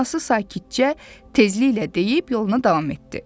Anası sakitcə, tezliklə deyib yoluna davam etdi.